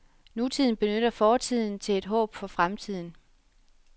Nutiden benytter fortiden til et håb for fremtiden.